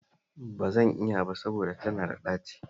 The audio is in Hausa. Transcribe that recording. Ba zan iya ba saboda tana da ɗaci